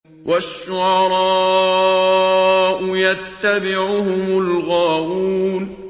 وَالشُّعَرَاءُ يَتَّبِعُهُمُ الْغَاوُونَ